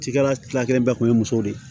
Cikɛla tila kelen bɛɛ kun ye muso de ye